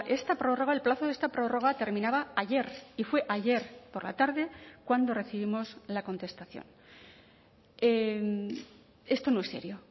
esta prórroga el plazo de esta prórroga terminaba ayer y fue ayer por la tarde cuando recibimos la contestación esto no es serio